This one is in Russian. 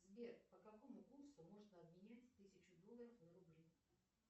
сбер по какому курсу можно обменять тысячу долларов на рубли